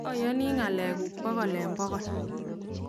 ayonii ngalek kuk pokol eng pokol.